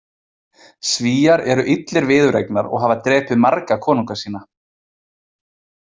Svíar eru illir viðureignar og hafa drepið marga konunga sína.